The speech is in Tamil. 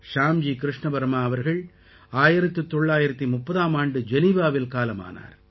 ஷ்யாம்ஜி கிருஷ்ண வர்மா அவர்கள் 1930ஆம் ஆண்டு ஜெனீவாவில் காலமானார்